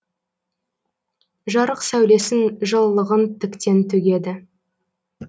жарық сәулесін жылылығын тіктен төгеді